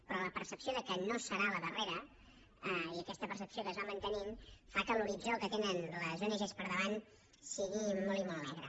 però la percepció que no serà la darrera i aquesta percepció que es va mantenint fa que l’horitzó que tenen les ong per davant sigui molt i molt negre